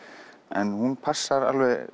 en hún passar